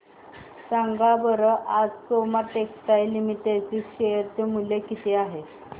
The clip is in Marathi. सांगा बरं आज सोमा टेक्सटाइल लिमिटेड चे शेअर चे मूल्य किती आहे